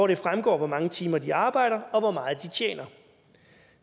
det fremgår hvor mange timer de arbejder og hvor meget de tjener